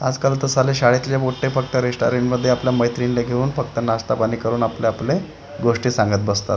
आजकाल तर साले शाळेतले मोठे फक्त रेस्टॉरंट मध्ये आपल्या मैत्रिणीला घेऊन फक्त नाष्टापाणी करून आपले आपले गोष्टी सांगत बसतात.